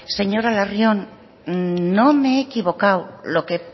señora larrion no me he equivocado lo que